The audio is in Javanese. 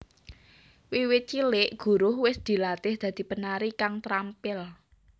Wiwit cilik Guruh wis dilatih dadi penari kang trampil